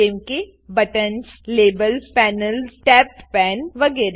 જેમ કે buttons labels panels tabbed પાને વગેરે